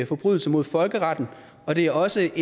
forbrydelse mod folkeretten og det er også